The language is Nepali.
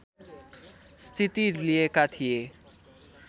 स्थिति लिएका थिए